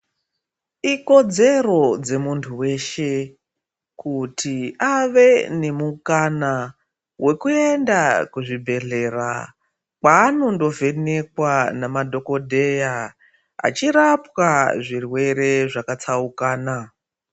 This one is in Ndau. Ikodzero dzemuntu weshe kuti awe nemukana wekuenda kuzvibhedhlera kwanondovhenekwa nemadhogodheya achirapwa zvirwere zvakatsaukana.